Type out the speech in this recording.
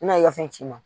N'a ye ka fɛn ci n ma